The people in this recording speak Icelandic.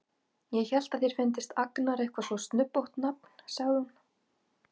Ég hélt að þér fyndist Agnar eitthvað svo snubbótt nafn, sagði hún.